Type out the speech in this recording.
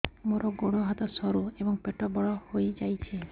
ମୋର ଗୋଡ ହାତ ସରୁ ଏବଂ ପେଟ ବଡ଼ ହୋଇଯାଇଛି